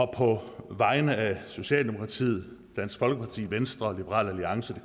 på vegne af socialdemokratiet dansk folkeparti venstre liberal alliance det